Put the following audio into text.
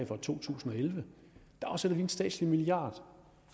for to tusind og elleve afsætter vi en statslig milliard